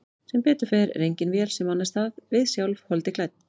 Sem betur fer engin vél sem annast það, við sjálf, holdi klædd.